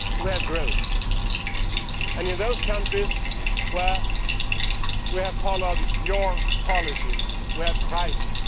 We have growth. In those countries where we have followed your policies, we have crisis.